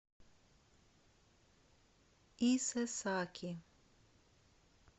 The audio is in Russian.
исэсаки